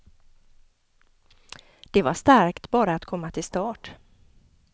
Det var starkt bara att komma till start.